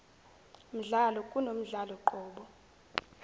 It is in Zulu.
mdlalo kunomdlalo qobo